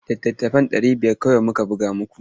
Littattafai ɗari biyar kawai muka buga muku.